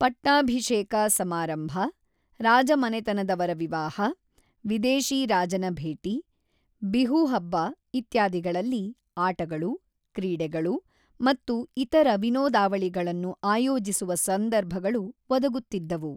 ಪಟ್ಟಾಭಿಷೇಕ ಸಮಾರಂಭ, ರಾಜಮನೆತನದವರ ವಿವಾಹ, ವಿದೇಶಿ ರಾಜನ ಭೇಟಿ, ಬಿಹು ಹಬ್ಬ ಇತ್ಯಾದಿಗಳಲ್ಲಿ ಆಟಗಳು, ಕ್ರೀಡೆಗಳು ಮತ್ತು ಇತರ ವಿನೋದಾವಳಿಗಳನ್ನು ಆಯೋಜಿಸುವ ಸಂದರ್ಭಗಳು ಒದಗುತ್ತಿದ್ದವು.